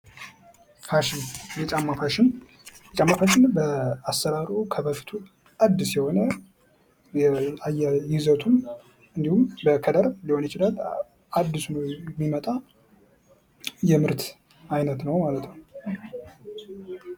የጫማ ፋሽን በተለያዩ ጊዜያት የተለያዩ የሚመጡ የጫማ አይነቶች ናቸው።